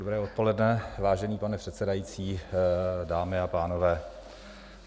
Dobré odpoledne, vážený pane předsedající, dámy a pánové.